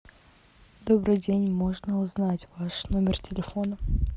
добрый день можно узнать ваш номер телефона